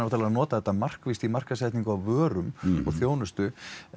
að nota þetta markvisst í markaðssetningu á vörum og þjónustu